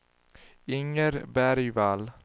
Inger Bergvall